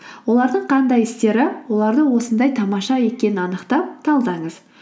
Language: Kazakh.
олардың қандай істері оларды осындай тамаша екенін анықтап талдаңыз